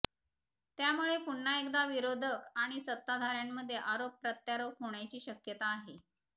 त्यामुळं पुन्हा एकदा विरोधक आणि सत्ताधारांमध्ये आरोप प्रत्यारोप होण्याची शक्यता आहे